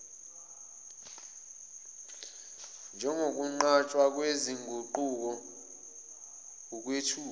njengokwenqatshwa kwezinguquko ukwethuka